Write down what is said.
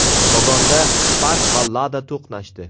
Kogonda Spark va Lada to‘qnashdi.